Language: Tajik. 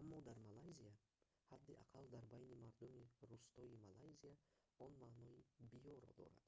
аммо дар малайзия ҳадди аққал дар байни мардуми рустоии малайзия он маънои «биё»-ро дорад